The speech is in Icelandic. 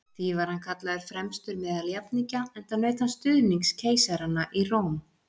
Því var hann kallaður fremstur meðal jafningja, enda naut hann stuðnings keisaranna í Róm.